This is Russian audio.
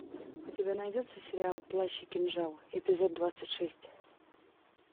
у тебя найдется сериал плащ и кинжал эпизод двадцать шесть